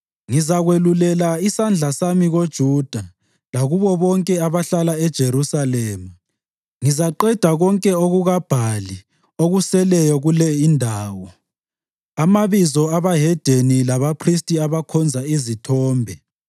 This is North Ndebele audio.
“Ngizakwelulela isandla sami koJuda lakubo bonke abahlala eJerusalema. Ngizaqeda konke okukaBhali okuseleyo kule indawo, amabizo abahedeni labaphristi abakhonza izithombe